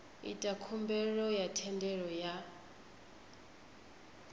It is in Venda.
ita khumbelo ya thendelo ya